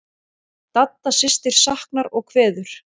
Dadda systir saknar og kveður.